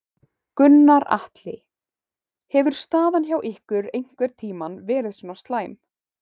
Gunnar Atli: Hefur staðan hjá ykkur einhvern tímann verið svona slæm?